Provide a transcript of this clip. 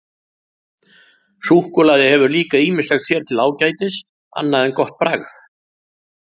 Súkkulaði hefur líka ýmislegt sér til ágætis annað en gott bragð.